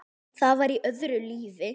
Það var í öðru lífi.